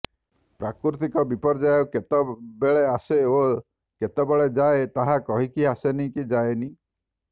ପ୍ରାକୃତିକ ବିପର୍ଯ୍ୟୟ କେତେବେଳେ ଆସେ ଓ କେତେବେଳେ ଯାଏ ତାହା କହିକି ଆସେନି କି ଯାଏନି